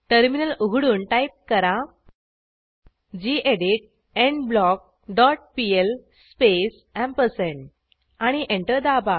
terminal उघडून type करा gedit endblock dot PL space ampersand आणि एंटर दाबा